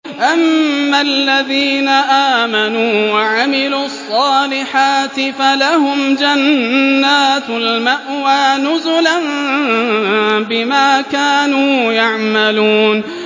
أَمَّا الَّذِينَ آمَنُوا وَعَمِلُوا الصَّالِحَاتِ فَلَهُمْ جَنَّاتُ الْمَأْوَىٰ نُزُلًا بِمَا كَانُوا يَعْمَلُونَ